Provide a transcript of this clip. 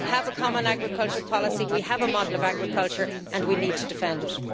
We have a common agricultural policy, we have a model of agriculture, and we need to defend it.